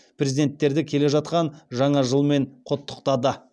президенттерді келе жатқан жаңа жылмен құттықтады